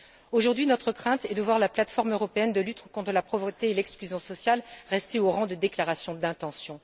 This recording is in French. Aujourd'hui, notre crainte est de voir la plate forme européenne de lutte contre la pauvreté et l'exclusion sociale rester au rang de déclaration d'intention.